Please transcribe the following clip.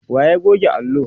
wa ya goge allo?